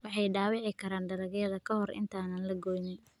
Waxay dhaawici karaan dalagyada ka hor inta aan la goyn.